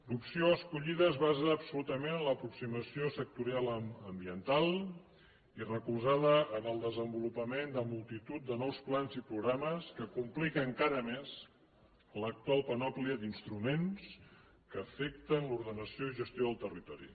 l’opció escollida es basa absolutament en l’aproximació sectorial ambiental i recolzada en el desenvolupament de multitud de nous plans i programes que complica encara més l’actual panòplia d’instruments que afecten l’ordenació i gestió del territori